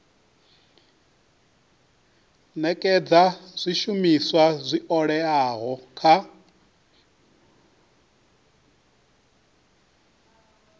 nekedza zwishumiswa zwi oeaho kha